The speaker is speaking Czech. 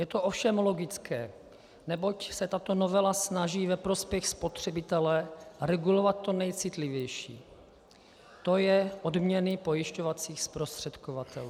Je to ovšem logické, neboť se tato novela snaží ve prospěch spotřebitele regulovat to nejcitlivější, to je odměny pojišťovacích zprostředkovatelů.